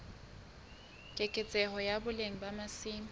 keketseho ya boleng ba masimo